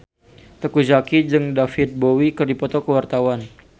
Teuku Zacky jeung David Bowie keur dipoto ku wartawan